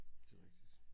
Det jo rigtig